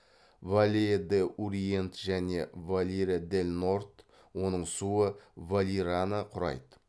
валеа д уриент және валира дель норд оның суы валираны құрайды